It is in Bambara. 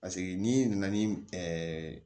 Paseke n'i nana ni